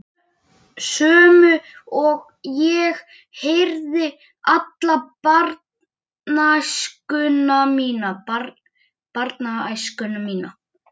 Sömu og ég heyrði alla barnæskuna mína.